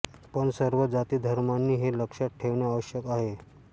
पण सर्व जातीधर्माँनी हे लक्षात ठेवणे आवश्यक आहे